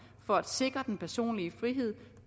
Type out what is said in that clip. for at sikre den personlige frihed